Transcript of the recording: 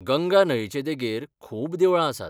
गंगा न्हंयचे देगेर खूब देवळां आसात.